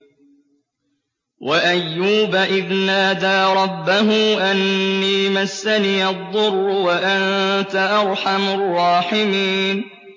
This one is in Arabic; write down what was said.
۞ وَأَيُّوبَ إِذْ نَادَىٰ رَبَّهُ أَنِّي مَسَّنِيَ الضُّرُّ وَأَنتَ أَرْحَمُ الرَّاحِمِينَ